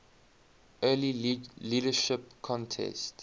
earlier leadership contest